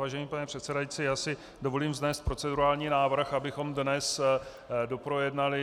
Vážený pane předsedající, já si dovolím vznést procedurální návrh, abychom dnes doprojednali